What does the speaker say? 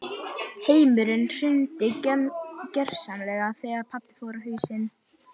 Heimurinn hrundi gjörsamlega þegar pabbi fór á hausinn.